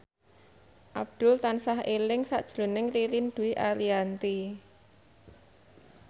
Abdul tansah eling sakjroning Ririn Dwi Ariyanti